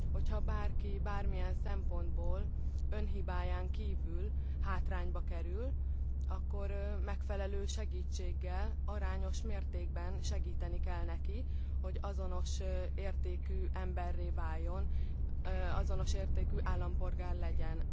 Ha bárki bármilyen szempontból, önhibáján kívül hátrányba kerül, akkor megfelelő segítséggel, arányos mértékben segíteni kell neki, hogy azonos értékű emberré váljon, azonos értékű állampolgár legyen.